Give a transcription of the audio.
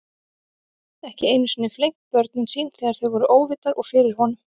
Ekki einu sinni flengt börnin sín þegar þau voru óvitar og fyrir honum.